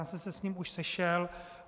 Já jsem se s ním už sešel.